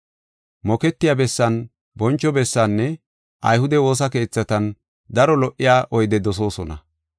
Moketiya bessan boncho bessinne ayhude woosa keethatan daro lo77iya oyde dosoosona.